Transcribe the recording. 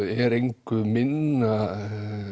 er engu minna